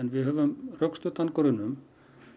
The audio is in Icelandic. við höfum rökstuddan grun um